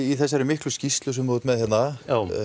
í þessari miklu skýrslu sem þú ert með hérna